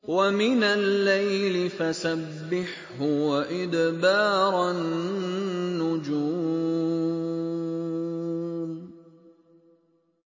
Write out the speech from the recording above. وَمِنَ اللَّيْلِ فَسَبِّحْهُ وَإِدْبَارَ النُّجُومِ